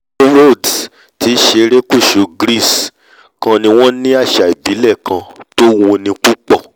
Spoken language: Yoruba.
ní rhodes tí í ṣe erékùṣù greece kan wọ́n ní àṣà ìbílẹ̀ kan tó wu'ni púpọ̀